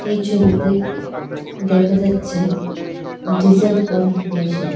এই ছবিতে দেখা যাচ্ছে ডিজেল পাম্প মেশিন .